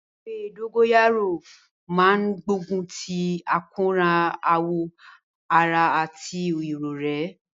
Ewé dógóyárò máa ń gbógun ti àkóràn awọ ara àti irorẹ́